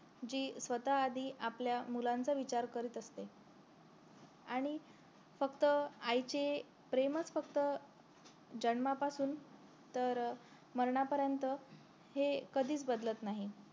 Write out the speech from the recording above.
जी स्वतः आधी आपल्या मुलांचा विचार करीत असते आणि फक्त आईचे प्रेमच फक्त जन्मापासून तर मरणापर्यन्त हे कधीच बदलत नाही